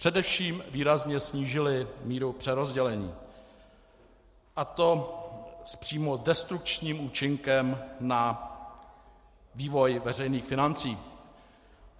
Především výrazně snížily míru přerozdělení, a to s přímo destrukčním účinkem na vývoj veřejných financí.